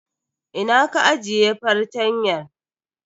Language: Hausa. Ina ka ajiye fartanyan?